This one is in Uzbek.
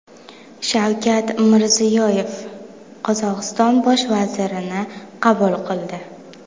Shavkat Mirziyoyev Qozog‘iston bosh vazirini qabul qildi.